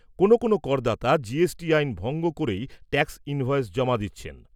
কোনো কোনো করদাতা আইন ভঙ্গ করেই ট্যাক্স ইনভয়েস জমা দিচ্ছেন।